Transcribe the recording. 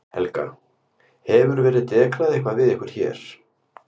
Helga: Hefur verið dekrað eitthvað við ykkur hér?